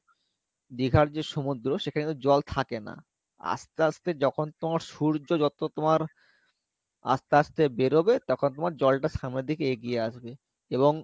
দীঘার যে সমুদ্র সেখানে কিন্তু জল থাকে না আস্তে আস্তে যখন তোমার সূর্য যত তোমার আস্তে আস্তে বেরোবে তখন তোমার জলটা সামনের দিকে এগিয়ে আসবে এবং